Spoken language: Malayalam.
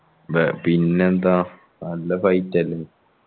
മ്പ പിന്നെ എന്താ നല്ല fight അല്ലെ